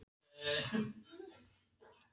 Stöku línur, stöku orð, stöku tafs.